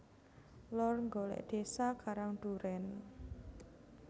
Lor Nggolek desa Karang Duren